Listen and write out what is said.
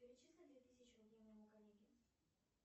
перечисли две тысячи рублей моему коллеге